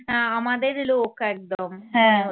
না আমাদেরেই লোক একদম